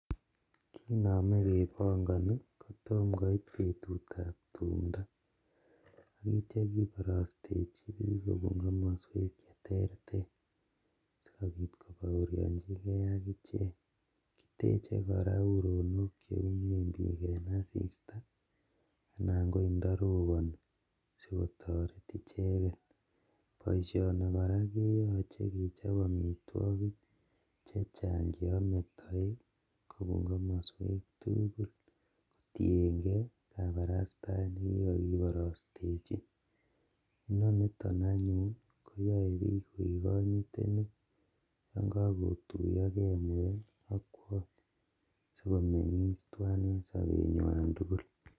konome kebongoni kotom koit betut ab tumto ak ityo kiborosteji biik kobun komoswek cheterter, sikobit koboorionji gee ak ichek, kiteche koraa uronok cheumen bik en asista anan ko indo roboni asikotoret icheket, boishni koraa koyoche kechop omitwoki chechang cheyome toek kobun komoswek tuukul kotiyen gee kabarastaet nekiko kiborosteji inonion anyun koyoe bik koik konyoitenik yon kokotuyo gee muren ak kwony sikomengis twan en somenywan tukul.